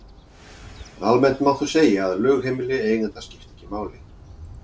Almennt má þó segja að lögheimili eiganda skipti ekki máli.